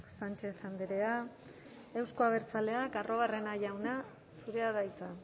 sánchez andrea euzko abertzaleak arruabarrena jauna zurea da hitza